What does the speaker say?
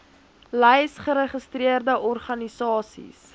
lys geregistreerde organisasies